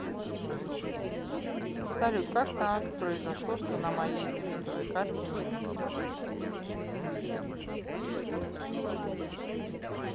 салют как так произошло что на моей дебетовой карте минус